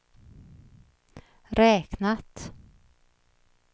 räknat